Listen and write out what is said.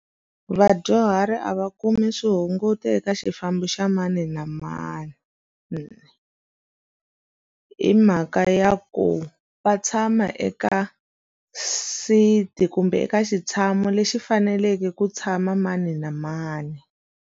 Vadyuhari a va kumi swihunguto eka xifambo xa mani na mani hi mhaka ya ku va tshama eka seat-i kumbe eka xitshamo lexi faneleke ku tshama mani na mani.